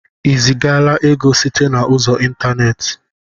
I zigaala ego site na ụzọ ịntaneti?